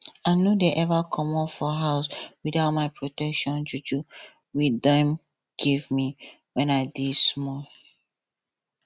i no dey ever commot for house without my protection juju we dem give me wen i dey small